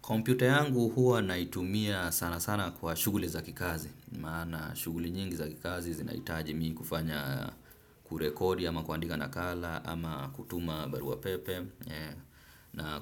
Kompyuta yangu huwa naitumia sana sana kwa shughuli za kikazi. Maana shughuli nyingi za kikazi zinaitaji mimi kufanya, kurekodi ama kuandika nakala ama kutuma barua pepe na